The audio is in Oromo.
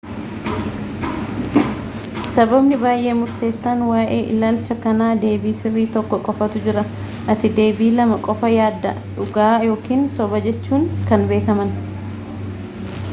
sababni baay'ee murteessaan waa'ee ilaalcha kanaa deebii sirrii tokko qofatu jira ati deebii lama qofa yaadda dhugaa ykn sobajechuun kan beekaman